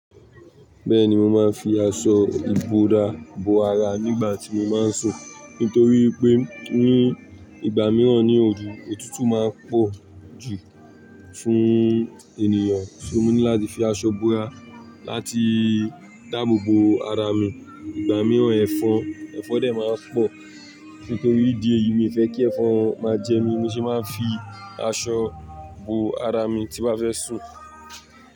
Bẹ́ẹ̀ni mo máa ń fi aṣọ ìbora bo ara nígbà tí mo máa ń sùn, nítorí pé ní ìgbà mìíràn ní òru òtútù máa ń pọ̀jù fún ènìyàn. So mo ní láti fi aṣọ bo ara láti dáàbò bo ara mi. Ìgbà mìíràn, ẹ̀fọn, ẹ̀fọn dè máa ń pọ̀. Nítorí ìdí èyí, mi ò fẹ́ kí ẹ̀fọn máa jẹ mí. Mo sì máa ń fi aṣọ bo ara mi tí bá fẹ́ sùn.